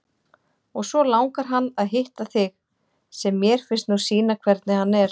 Og svo langar hann að hitta þig, sem mér finnst nú sýna hvernig hann er.